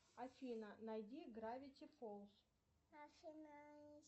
афина найди гравити фолз